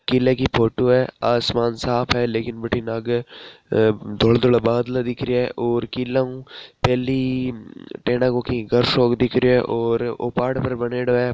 किले की फोटो है आसमान साफ है लेकिन बथिन आगे धोलो धोलो बादल दिख रा है टेन को घर सो दिख रो है और ओ पहाड़ पर बनेडो है।